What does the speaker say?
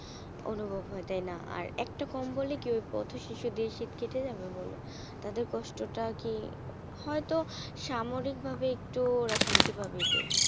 অনুভব হয় তাই না? আর একটা কম্বল কি পথ শিশুদের শীত কেটে যাবে? বলো তাদের কষ্টটা কি হয়তো সাময়িক ভাবে ওরা একটু শান্তি হবে এটাই।